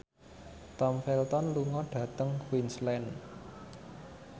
Tom Felton lunga dhateng Queensland